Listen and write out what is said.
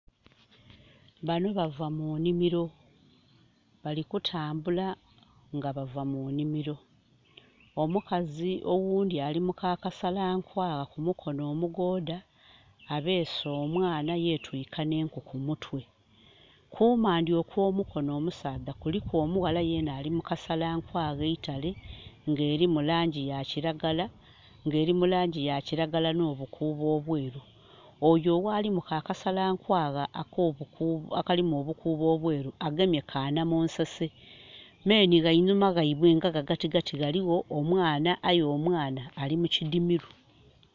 Banho bava mu nhimiro. Bali kutambula nga bava mu nhimiro. Omukazi oghundhi ali mu ka kasalankwagha, ku mukono omugoodha abeese omwana yetwiika nh'enku ku mutwe. Ku maandhi okw'omukono omusaadha kuliku omughala yena ali mu kasalankwagha eitale, ng'erimu laangi ya kiragala, nga eli mu laangi ya kiragala nh'obukuubo obweru. Oyo ali mu ka kasalankwagha akalimu obukuubo obweru agemye ka namunsose. Me nhi gha inhuma ghaibwe nga ghagatigati ghaligho omwana aye omwana ali mu kidhimiro.